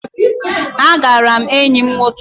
Agara m enyi m nwoke